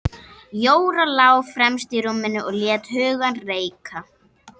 Jóra lá fremst í rúminu og lét hugann reika.